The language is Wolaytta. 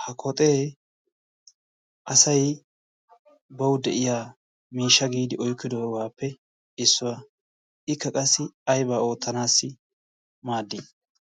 ha koxee asai bawu de7iya miisha giidi oikkidoogaappe issuwaa ikka qassi aibaa oottanaassi maaddii?